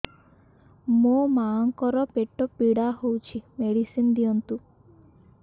ମୋ ମାଆଙ୍କର ପେଟ ପୀଡା ହଉଛି ମେଡିସିନ ଦିଅନ୍ତୁ